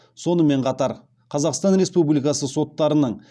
сонымен қатар қазақстан республикасы соттарының